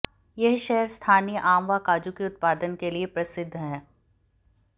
यह शहर स्थानीय आम व काजू के उत्पादन के लिए प्रसिद्ध है